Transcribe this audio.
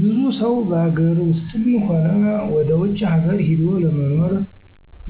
ብዙ ሰው በሀገር ውስጥም ሆነ ወደ ውጭ ሀገር ሂዶ ለመኖር